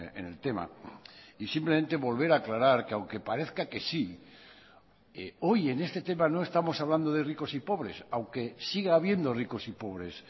en el tema y simplemente volver a aclarar que aunque parezca que sí hoy en este tema no estamos hablando de ricos y pobres aunque siga habiendo ricos y pobres